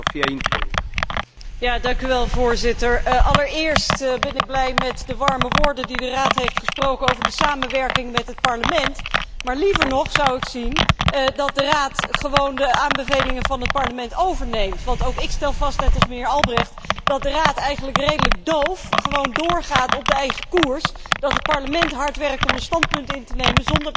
Allereerst ben ik blij met de warme woorden die de Raad heeft gesproken over de samenwerking met het Parlement, maar liever nog zou ik zien dat de Raad de aanbevelingen van het Parlement overneemt, want ook ik stel vast, net als mijnheer Albrecht, dat de Raad zich eigenlijk redelijk doof houdt en gewoon doorgaat op de eigen koers, en dat het Parlement hard werkt om een standpunt in te nemen, zonder dat dit daarna terugkomt in het Raadsprogramma.